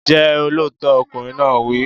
Jẹ́ olóòótọ́! Ọkùnrin náà wí.